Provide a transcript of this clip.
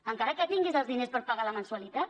encara que tinguis els diners per pagar la mensualitat